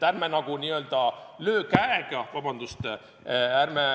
Ärme lööme käega!